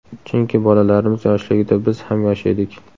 Chunki bolalarimiz yoshligida biz ham yosh edik.